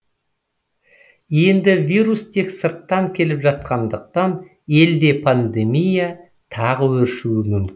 енді вирус тек сырттан келіп жатқандықтан елде пандемия тағы өршуі мүмкін